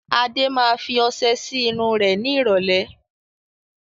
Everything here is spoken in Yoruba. Adé máa fi ọsẹ sì irun rẹ ni ìrọ̀lẹ́